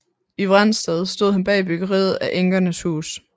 I Vrensted stod han bag byggeriet af enkernes hus